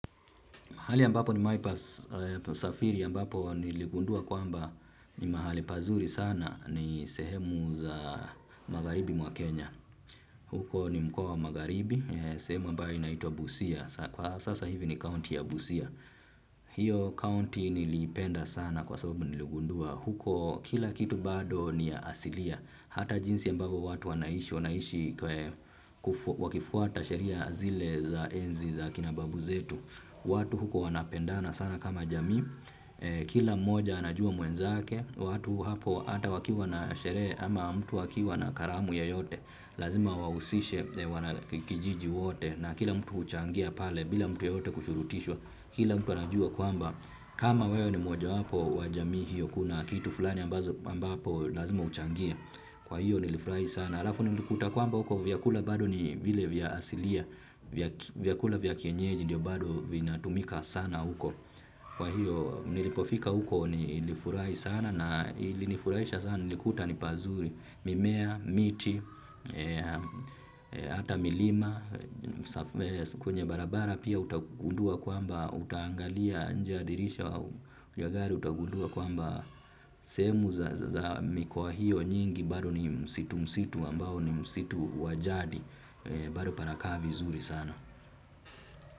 Hali ambapo nimewahi pasafiri ambapo niligundua kwamba ni mahali pazuri sana ni sehemu za magharibi mwa Kenya. Huko ni mkoa wa magharibi, sehemu ambayo inaitwa Busia. Kwa sasa hivi ni county ya Busia. Hiyo county nilipenda sana kwa sababu niligundua. Huko kila kitu bado ni ya asilia. Hata jinsi ambavyo watu wanaishi wanaisha wakifuata sheria zile za enzi za kina babu zetu. Watu huko wanapendana sana kama jamii. Kila mmoja anajua mwenzake. Watu hapo hata wakiwa na sherehe ama mtu akiwa na karamu yoyote lazima wahusishe wanakijiji wote na kila mtu huchangia pale. Bila mtu yeyote kufurutishwa. Kila mtu anajua kwamba kama wewe ni mmoja wapo wa jamii hiyo, kuna kitu fulani ambazo mbapo lazima uchangie. Kwa hiyo nilifurahi sana. Halafu nilikuta kwamba huko vyakula bado ni vile vya asilia. Vyakula vya kienyeji ndiyo bado vinatumika sana huko. Kwa hiyo nilipofika huko nilifurahi sana na ilinifurahisha sana nilikuta ni pazuri. Mimea, miti, hata milima, kwenye barabara. Pia utagundua kwamba utaangalia nje ya dirisha ya gari utagundua kwamba sehemu za mikoa hiyo nyingi bado ni msitu msitu ambao ni msitu wa jadi bado panakaa vizuri sana.